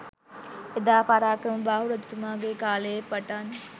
එදා පරාක්‍රමබාහු රජතුමාගේ කාලයේ පටන්